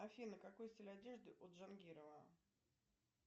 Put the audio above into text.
афина какой стиль одежды у джангирова